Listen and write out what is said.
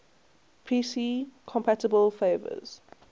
pc compatible flavors